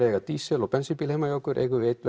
eiga dísel og bensín bíl heima hjá okkur eigum við einn